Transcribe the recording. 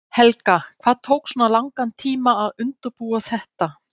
Helga: Hvað tók svona langan tíma að undirbúa þetta?